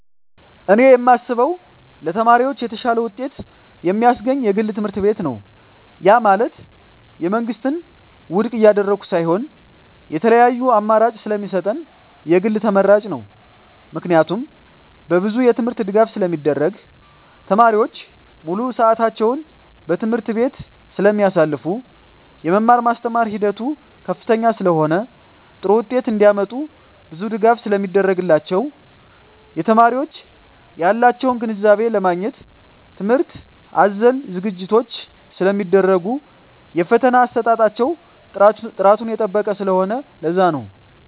እኔ የማስበው ለተማሪዎች የተሻለ ውጤት የማስገኝ የግል ትምህርትቤት ነው ያ ማለት የመንግስትን ውድቅ እያደረኩ ሳይሆን የተለያዪ አማራጭ ስለሚሰጠን የግል ተመራጭ ነው። ምክንያቱም በብዙ የትምህርት ድጋፍ ስለሚደረግ , ተማሪዎች ሙሉ ስዕታቸውን በትምህርት ቤቱ ስለማሳልፋ , የመማር ማስተማር ሂደቱ ከፍተኛ ስለሆነ ጥሩ ውጤት እንዳመጡ ብዙ ድጋፍ ስለሚደረግላቸው , የተማሪዎች ያላቸውን ግንዛቤ ለማግኘት ትምህርት አዘል ዝግጅቶች ስለሚደረጉ የፈተና አሰጣጣቸው ጥራቱን የጠበቀ ስለሆነ ለዛ ነው